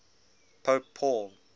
pope paul